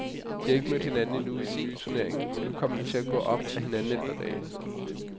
De har ikke mødt hinanden endnu i den nye turnering, men nu kommer de til at gå op ad hinanden i et par dage.